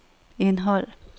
indhold